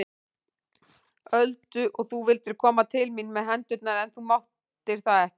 Öldu og þú vildir koma til mín með hendurnar en þú máttir það ekki.